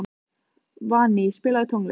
Valný, spilaðu tónlist.